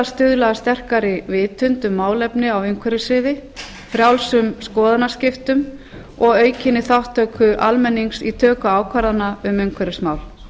stuðla að sterkari vitund um málefni á umhverfissviði frjálsum skoðanaskiptum og aukinni þátttöku almennings í töku ákvarðana um umhverfismál